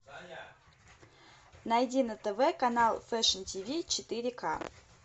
найди на тв канал фэшн тв четыре к